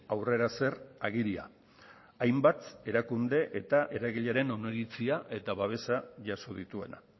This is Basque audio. aurrera zer agiria hainbat erakunde eta eragileren oniritzia eta babesa jaso dituena